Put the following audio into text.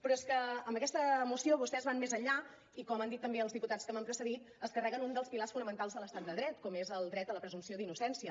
però és que amb aquesta moció vostès van més enllà i com han dit també els diputats que m’han precedit es carreguen un dels pilars fonamentals de l’estat de dret com és el dret a la presumpció d’innocència